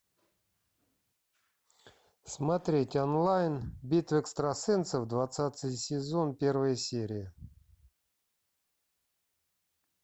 смотреть онлайн битва экстрасенсов двадцатый сезон первая серия